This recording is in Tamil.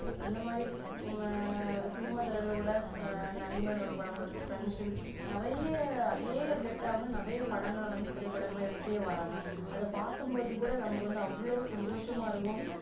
அந்த மாறி ஆஹ் சினிமா துறைல கூட ஆஹ் நண்பன் ஒரு படம் பாத்து இருப்போம் friends ன்னு நிறைய அதே relat டா வந்து நிறைய படங்கள் எடுத்துடே வராங்க அத பாக்கும் போது கூட அவ்ளோ சந்தோசமா இருக்கும்